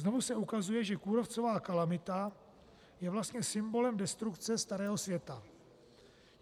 Znovu se ukazuje, že kůrovcová kalamita je vlastně symbolem destrukce starého světa.